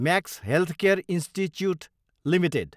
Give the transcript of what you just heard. Max Healthcare Institute Ltd